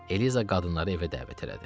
Eliza qadınları evə dəvət elədi.